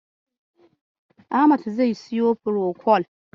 Ahmad zai siyo furokol.